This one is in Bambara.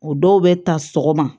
O dɔw bɛ ta sɔgɔma